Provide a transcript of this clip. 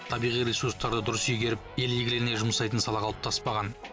табиғи ресурстарды дұрыс игеріп ел игілігіне жұмсайтын сала қалыптаспаған